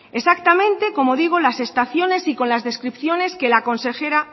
exactamente como digo las estaciones y con las descripciones que la consejera